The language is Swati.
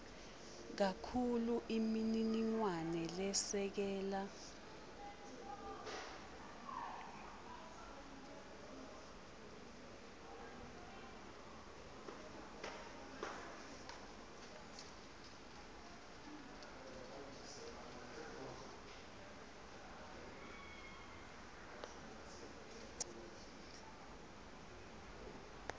kakhulu imininingwane lesekela